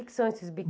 O que que são esses